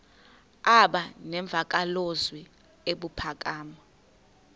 aba nemvakalozwi ebuphakama